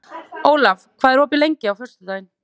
Olav, hvað er opið lengi á föstudaginn?